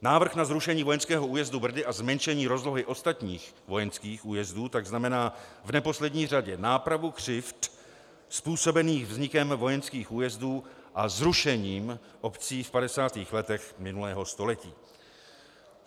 Návrh na zrušení vojenského újezdu Brdy a zmenšení rozlohy ostatních vojenských újezdů tak znamená v neposlední řadě nápravu křivd způsobených vznikem vojenských újezdů a zrušením obcí v 50. letech minulého století.